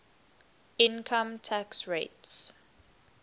income tax rates